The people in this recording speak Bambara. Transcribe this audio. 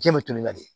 Jiɲɛ bɛ toli ka di